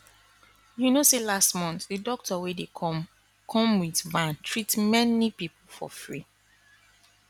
you know say last month the doctor wey dey come come with van treat many people for free